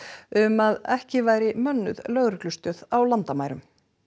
um að ekki væri mönnuð lögreglustöð á landamærum